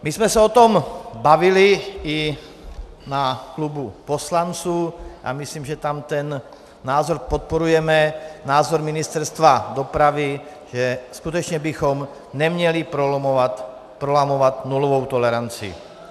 My jsme se o tom bavili i na klubu poslanců a myslím, že tam ten názor podporujeme, názor Ministerstva dopravy, že skutečně bychom neměli prolamovat nulovou toleranci.